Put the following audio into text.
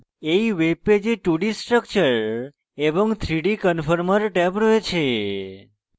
এই web পেজে 2d structure এবং 3d conformer ট্যাব রয়েছে